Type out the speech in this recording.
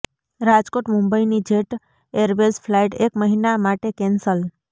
રાજકોટ મુંબઈ ની jet airways flight એક મહિના માટે કેન્સલ